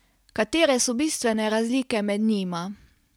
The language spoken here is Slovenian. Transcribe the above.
Katere so bistvene razlike med njima?